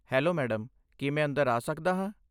Hello madam, ਕੀ ਮੈਂ ਅੰਦਰ ਆ ਸਕਦਾ ਹਾਂ?